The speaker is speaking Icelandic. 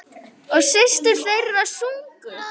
Og systur þeirra sungu.